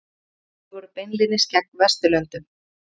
Fjögur stríð voru beinlínis gegn Vesturlöndum.